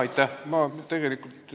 Aitäh!